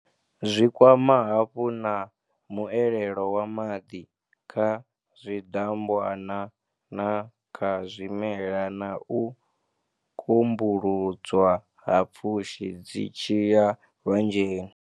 Zwi kwama hafhu na muelelo wa maḓi kha zwidambwana na kha zwimela na u kumbuludzwa ha pfushi dzi tshi ya lwanzheni.